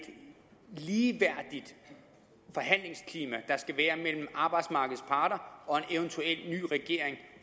ligeværdigt forhandlingsklima der skal være mellem arbejdsmarkedets parter og en eventuel ny regering